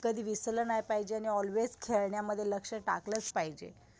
कधी विसरलं नाही पाहिजे आणि आल्वेस खेळण्यामध्ये लक्ष टाकलाच पाहिजे.